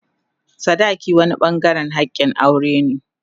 sadaki wani bangaren hakin aure ne.